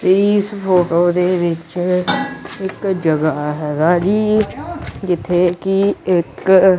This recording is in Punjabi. ਇਸ ਫ਼ੋਟੋ ਦੇ ਵਿੱਚ ਇੱਕ ਜਗਾਹ ਹੈਗਾ ਜੀ ਜਿੱਥੇ ਕੀ ਇੱਕ--